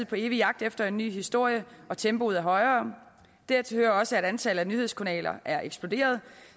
på evig jagt efter en ny historie og tempoet er højere dertil hører også at antallet af nyhedskanaler er eksploderet